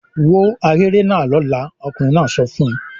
"Wó ahéré náà lọ́la!" Ọkùnrin náà sọ fún un.